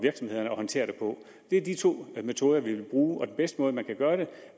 håndtere det på det er de to metoder vi vil bruge og den bedste måde man kan gøre det